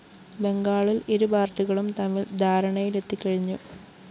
ബംഗാളില്‍ ഇരു പാര്‍ട്ടികളും തമ്മില്‍ ധാരണയിലെത്തി കഴിഞ്ഞു